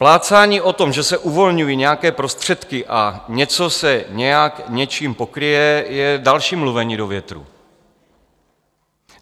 Plácání o tom, že se uvolňují nějaké prostředky a něco se nějak něčím pokryje, je další mluvení do větru.